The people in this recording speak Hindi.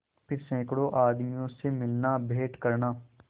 फिर सैकड़ों आदमियों से मिलनाभेंट करना